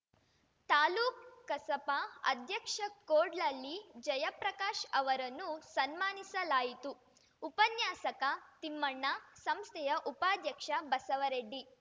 ತಾಲೂಕ್ ಕಸಪಾ ಅಧ್ಯಕ್ಷ ಕೋಡ್ಲಹಳ್ಳಿ ಜಯಪ್ರಕಾಶ್ ಅವರನ್ನು ಸನ್ಮಾನಿಸಿಲಾಯಿತು ಉಪನ್ಯಾಸಕ ತಿಮ್ಮಣ್ಣ ಸಂಸ್ಥೆಯ ಉಪಾಧ್ಯಕ್ಷ ಬಸವರೆಡ್ಡಿ